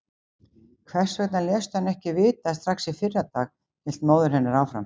Hvers vegna léstu hann ekki vita strax í fyrradag, hélt móðir hennar áfram.